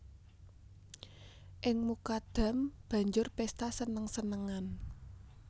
Ing Mukadam banjur pésta seneng senengan